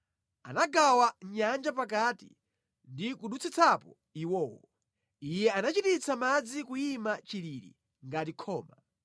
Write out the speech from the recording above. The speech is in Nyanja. Anagawa nyanja pakati ndi kudutsitsapo iwowo, Iye anachititsa madzi kuyima chilili ngati khoma.